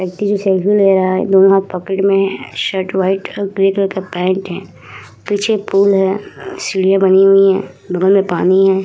जो सेल्फ़ी ले रहा है दोनों हाथ पॉकेट मे है शर्ट व्हाइट और ग्रीन कलर का पैन्ट हैं पीछे पूल हैं सीढ़िया बनी हुई हैं बगल मे पानी हैं।